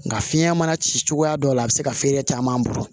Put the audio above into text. Nka fiɲɛ mana ci cogoya dɔ la a bɛ se ka feere caman bolo